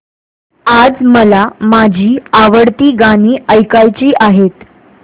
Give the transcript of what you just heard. आज मला माझी आवडती गाणी ऐकायची आहेत